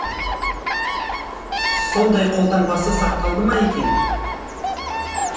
сондай қолтаңбасы сақталды ма екен